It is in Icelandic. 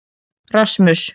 Rasmus